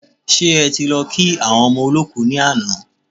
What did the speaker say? Ṣe ẹ ti lọ kí àwọn ọmọ olọ́kù ni àná?